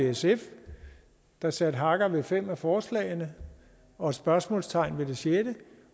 sf der satte hakker ved fem af forslagene og spørgsmålstegn ved det sjette